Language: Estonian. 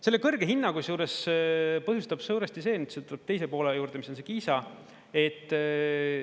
Selle kõrge hinna kusjuures põhjustab suuresti see, mis seal tuleb teise poole juurde, mis on see Kiisa.